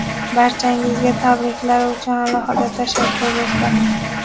Barchangizga tabriklar uchun alohida tashakkur, do‘stlar!.